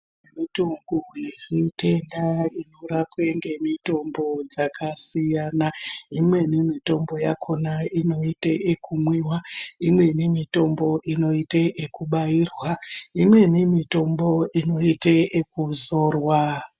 Mitoko yemitenda inorapwa nemitombo yakasiyana imweni mitombo yakona inoite yekumwiwa imweni mitombo inoite yekubairwa imweni mitombo inoite yekuzorwa.